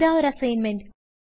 ഇതാ ഒരു അസ്സിഗ്ന്മെന്റ്